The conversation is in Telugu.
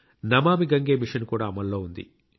నమామి గంగే మిషన్ కూడా అమల్లో ఉంది